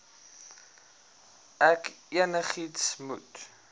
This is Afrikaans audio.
ek enigiets moet